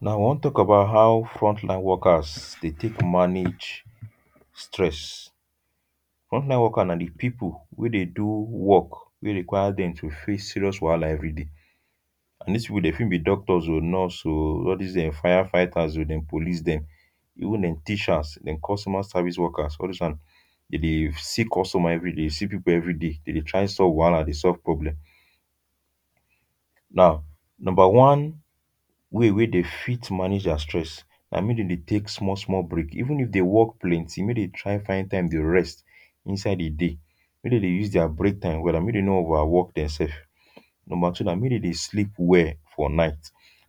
Now we wan talk about how frontline workers dey take manage stress. Frontline workers na di people wey dey do work wey require dem to face serious wahala everyday. And this people dey fit be doctors o, nurse o, all these dem fire fighters dem, police dem. Even dem teachers, dem customer service workers, all these ones dey dey see customer every day, dey see people everyday. Dey dey try solve wahala, dey solve problem. Now, number one way wey dey fit manage their stress na make dey dey take small small break. Even if dey work plenty, make dem try find break time dey rest inside di day. Make dem dey use their beak time well and make dem no overwork demself. Number two na, make dey dey sleep well for night.